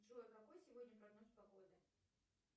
джой какой сегодня прогноз погоды